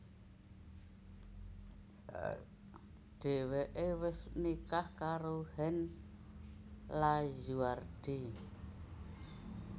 Dhèwèké wis nikah karo Hans Lazuardi